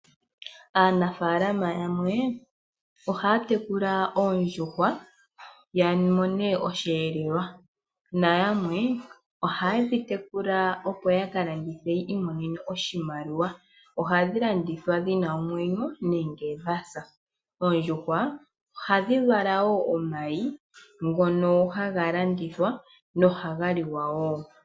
Aanafalama yamwe ohaya tekula oondjuhwa ya mone oshihelelwa, na yamwe ohaye dhi tekula opo ya ka landithe ya imonene oshimaliwa. Ohadhi landithwa dhina omwenyo nenge dha sa, oondjuhwa ohadhi vala wo omayi ngono haga landithwa nohaga liwa wo.